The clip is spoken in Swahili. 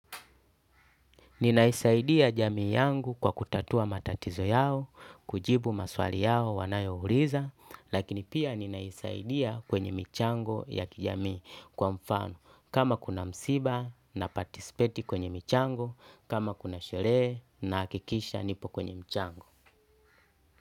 Ninaisaidia jamii yangu kwa kutatua matatizo yao, kujibu maswali yao wanayo uliza, lakini pia ninaisaidia kwenye michango ya kijamii kwa mfano kama kuna msiba na participate kwenye michango, kama kuna sherehe na hakikisha nipo kwenye mchango.